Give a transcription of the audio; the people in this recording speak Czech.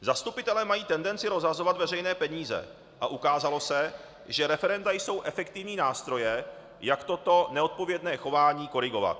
Zastupitelé mají tendenci rozhazovat veřejné peníze a ukázalo se, že referenda jsou efektivní nástroje, jak toto neodpovědné chování korigovat.